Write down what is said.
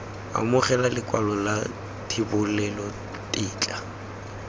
amogela lekwalo la thebolelo tetla